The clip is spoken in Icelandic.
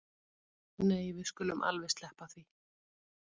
Nei við skulum alveg sleppa því